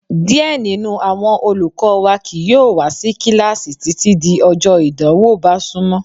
Díẹ̀ nínú àwọn olùkọ́ wa kìí yóò wá sí kíláàsì títí di ọjọ ìdánwò bá súnmọ́.